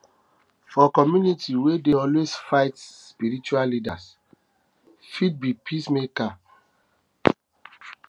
for community wey dey always fight spiritual leader fit be peacemaker fit be peacemaker